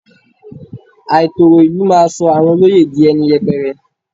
Àìtòrò ìlú máa sọ àwọn olóyè di ẹni yẹpẹrẹ.